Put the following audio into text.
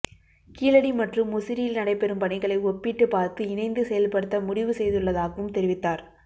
கீழடி மற்றும் முசிறியில் நடைபெறும் பணிகளை ஒப்பிட்டு பார்த்து இணைந்து செயல்படுத்த முடிவு செய்துள்ளதாகவும் தெரிவித்தார்